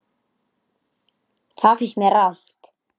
Það finnst mér rangt.